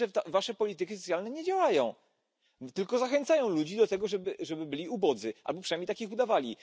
To znaczy, że wasze polityki socjalne nie działają, tylko zachęcają ludzi do tego, żeby byli ubodzy, albo przynajmniej się takimi wydawali.